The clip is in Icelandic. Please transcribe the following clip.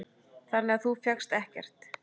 Þannig að þú fékkst ekkert?